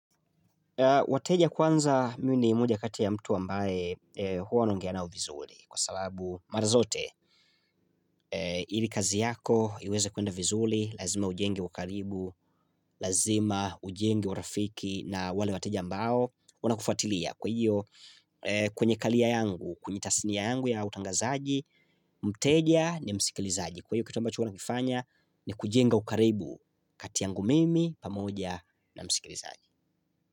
Wateja kwanza mi ni moja kati ya mtu ambaye huwa naongea nao vizuri kwa sababu mara zote ili kazi yako iweze kwenda vizuri lazima ujenge ukaribu lazima ujenge urafiki na wale wateja ambao wanakufatilia kwa hiyo kwenye karia yangu kwenye tasini yangu ya utangazaji mteja ni msikilizaji kwa hiyo kitu ambacho huwa nakifanya ni kujenga ukaribu kati yangu mimi pamoja na msikilizaji.